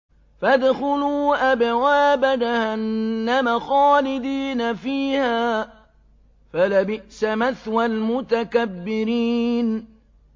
فَادْخُلُوا أَبْوَابَ جَهَنَّمَ خَالِدِينَ فِيهَا ۖ فَلَبِئْسَ مَثْوَى الْمُتَكَبِّرِينَ